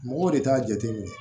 Mɔgɔw de t'a jate minɛ